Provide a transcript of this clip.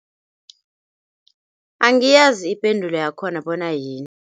Angiyazi ipendulo yakhona bona yini.